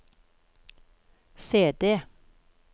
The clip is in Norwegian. CD